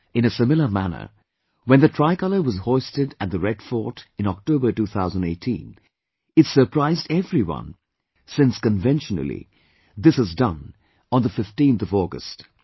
In a similar manner, when the tricolour was hoisted at the Red Fort in October 2018, it surprised everyone, since conventionally, this is done on the 15th of August